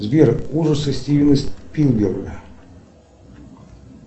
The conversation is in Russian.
сбер ужасы стивена спилберга